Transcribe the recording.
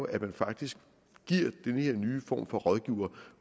at man faktisk giver den her nye form for rådgivere